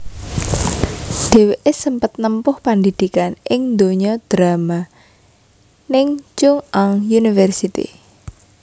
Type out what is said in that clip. Dhèwèké sempet nempuh pandidikan ning donya drama ning Chung Ang University